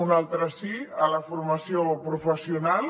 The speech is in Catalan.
un altre sí a la formació professional